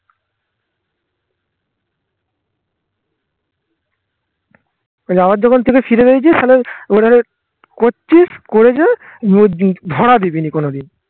তালে আবার জখুন থেকে ফিরে গিয়েছি করেছে ধরা দিবিনি কোনদিন